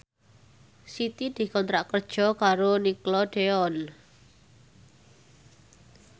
Siti dikontrak kerja karo Nickelodeon